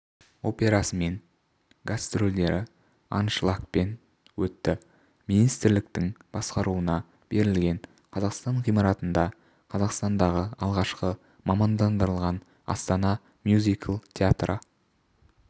операсымен гастрольдері аншлагпен өтті министрліктің басқаруына берілген қазақстан ғимаратында қазақстандағы алғашқы мамандандырылған астана мюзикл театры